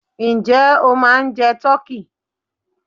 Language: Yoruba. Ǹjẹ́ o ma ń jẹ tọ́kí?